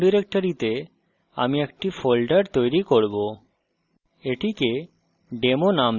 এখানে home ডিরেক্টরিতে আমি একটি folder তৈরি করব